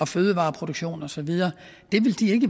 fødevareproduktion og så videre det vil de